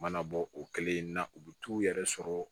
U mana bɔ o kelen na u bɛ t'u yɛrɛ sɔrɔ